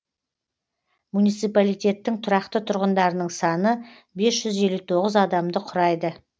муниципалитеттің тұрақты тұрғындарының саны бес жүз елу тоғыз адамды құрайды